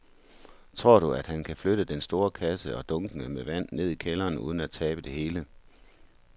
Tror du, at han kan flytte den store kasse og dunkene med vand ned i kælderen uden at tabe det hele?